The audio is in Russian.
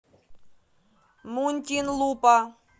мунтинлупа